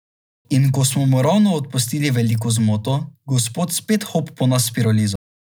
In ko smo mu ravno odpustili veliko zmoto, gospod spet hop po nas s pirolizo.